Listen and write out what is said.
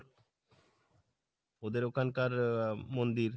ওদের ওখানকার আহ মন্দির,